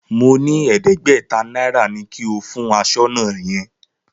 Mo ní ẹ̀ẹ́dẹ́gbẹ̀ta náírà ni kí o fún aṣọ́nà yẹn.